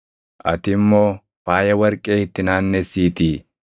Ati immoo faaya warqee itti naannessiitii